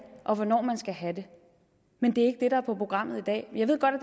og hvornår man skal have det men det er der er på programmet i dag jeg ved godt